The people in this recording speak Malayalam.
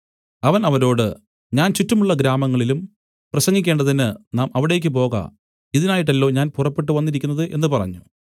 അവൻ അവരോട് ഞാൻ ചുറ്റുമുള്ള ഗ്രാമങ്ങളിലും പ്രസംഗിക്കേണ്ടതിന് നാം അവിടേക്ക് പോക ഇതിനായിട്ടല്ലോ ഞാൻ പുറപ്പെട്ടു വന്നിരിക്കുന്നത് എന്നു പറഞ്ഞു